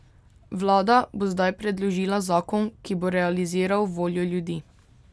Vlada bo zdaj predložila zakon, ki bo realiziral voljo ljudi.